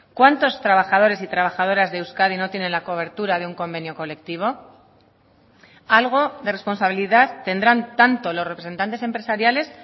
cuántos trabajadores y trabajadoras de euskadi no tienen la cobertura de un convenio colectivo algo de responsabilidad tendrán tanto los representantes empresariales